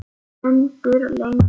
Stendur lengi.